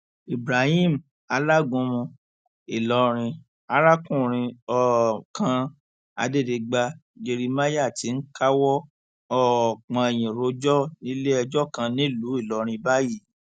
ibrahim alágúnmu ìlọrin arákùnrin um kan adẹdigba jerimáyà ti ń káwọ um pọnyìn rojọ níléẹjọ kan nílùú ìlọrin báyìí